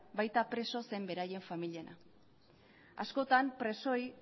baita preso zein beraien familiena askotan presoei